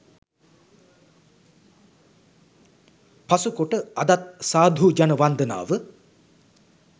පසුකොට අදත් සාධු ජන වන්දනාව